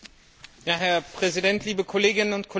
Herr Präsident, liebe Kolleginnen und Kollegen!